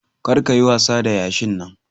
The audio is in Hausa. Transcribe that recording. Kar ka yi wasa da yashin Nan.